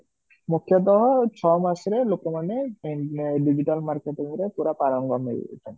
ମୁଖ୍ୟତଃ ଛ ମାସ ରେ ଲୋକମାନେ digital marketing ରେ ପୁର ପାରଙ୍ଗମ ହେଇ ଯାଇଛନ୍ତି